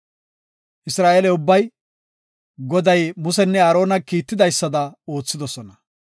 Isra7eele ubbay, Goday Musenne Aarona kiitidaysada oothidosona.